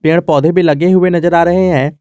पेड़ पौधे भी लगे हुए नजर आ रहे हैं।